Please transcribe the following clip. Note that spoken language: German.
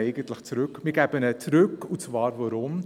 Sie gibt ihn zurück, und warum?